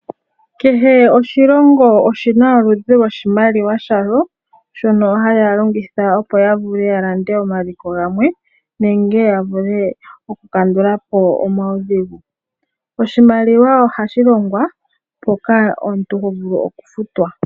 Kehe oshilongo oshi na oludhi loshimaliwa shalo shono haya longitha opo ya vule ya lande omaliko gamwe nenge ya vule okukandula po omaudhigu. Oshimaliwa ohashi longwa mpoka omuntu ho vulu okufutwa.